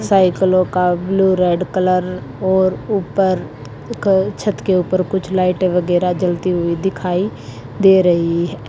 साइकिलों का blue red colour और ऊपर एक छत के ऊपर कुछ लाइटें वगैरह जलती हुई दिखाई दे रही है।